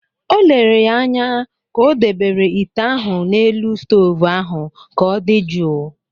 O lere ya anya ka o dobere ite ahụ n’elu stovu ahụ ka ọ dị jụụ